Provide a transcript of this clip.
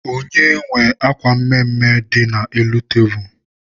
Onye nwe akwa mmee dị n'elu tebulu?